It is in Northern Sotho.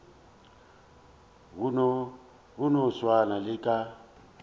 go no swana le ka